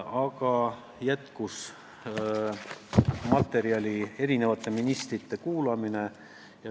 Aga mul materjali jätkub, sest järgnes ministrite kuulamine.